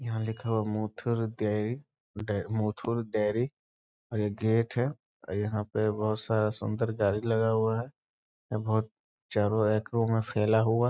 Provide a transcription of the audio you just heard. यहाँ लिखा हुआ है मुथुर डेर मुथुर डेरी और यह गेट है और यहाँ पे बहुत सारा सुन्दर गाड़ी लगा हुआ है और यह बहुत चारों एकरो में फैला हुआ।